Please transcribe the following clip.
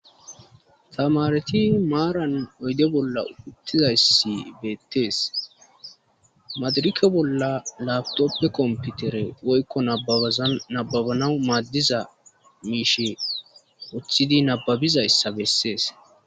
Tamareti maaran oyde bolla uttizayssi beettees madirikke bolla labtoppe komputere woykko nabaaza nababanau maaddiza miishe oththidi nababizayssa bessees.